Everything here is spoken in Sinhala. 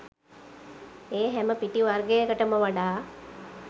ඒ හැම පිටි වර්ගයකටම වඩා